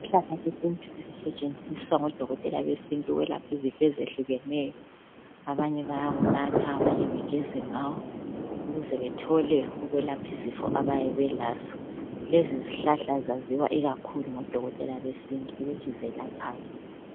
Isihlahla sesintu esisetshenziswa ngodokotela besintu ukwelapha izifo ezihlukeneyo. Abanye bayawunatha, abanye bageza ngawo, ukuze bathole ukwelapha izifo ababe belazo. Lezi zihlahla zaziwa ngodokotela besintu ukuthi zelaphani.